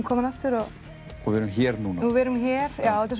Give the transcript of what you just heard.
komin aftur og og við erum hér núna við erum hér já þetta